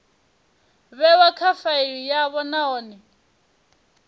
vhewa kha faili yavho nahone